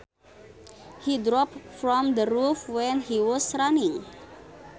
He dropped from the roof when he was running